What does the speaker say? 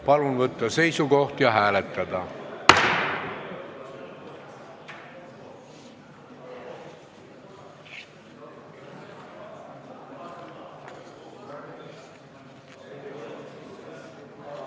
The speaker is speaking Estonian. Palun võtta seisukoht ja hääletada!